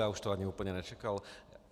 Já už to ani úplně nečekal.